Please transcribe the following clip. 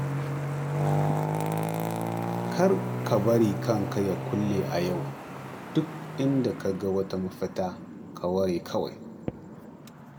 Kar ka bari kanka ya kulle a yau, duk inda ka ga ba mafita, ka ware kawai.